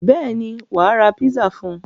Bẹ́ẹ̀ ni, wà á ra pizza fún un.